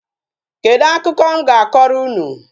Kedu akụkọ m ga-akọrọ unu?